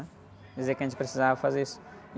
Dizer que a gente precisava fazer isso.